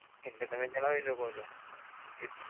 અટલે તમે જણાવી શકો છો કે